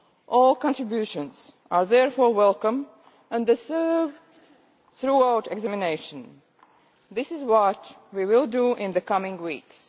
All contributions are therefore welcome and deserve thorough examination. This is what we will do in the coming weeks.